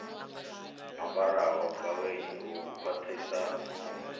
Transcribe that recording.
ambaraho gaweni u kwaṱhisa nungo